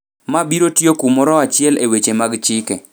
ma biro tiyo kumoro achiel e weche mag chike,